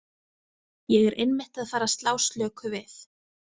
Ég er einmitt að fara að slá slöku við.